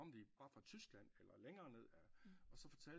Kom de bare fra Tyskland eller længere nede af og så fortalte